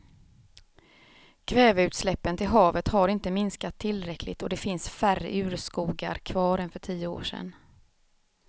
Kväveutsläppen till havet har inte minskat tillräckligt och det finns färre urskogar kvar än för tio år sedan.